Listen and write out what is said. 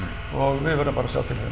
og við verðum bara